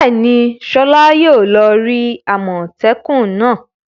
Bẹ́ẹ̀ni, Sola yóò lọ rí àmọ́tẹ́kùn náà.